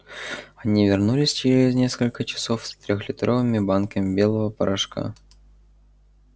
они вернулись через несколько часов с трёхлитровыми банками белого порошка